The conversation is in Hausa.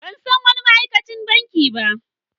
Ban san wani ma'aikacin banki ba.